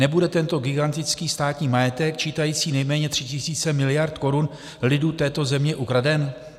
Nebude tento gigantický státní majetek čítající nejméně 3 000 miliard korun lidu této země ukraden?